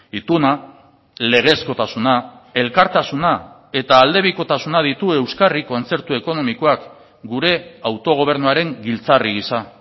ituna legezkotasuna elkartasuna eta aldebikotasuna ditu euskarri kontzertu ekonomikoak gure autogobernuaren giltzarri gisa